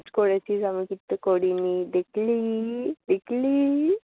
message করেছিস আমি কিন্তু করিনি। দেখলি, দেখলি।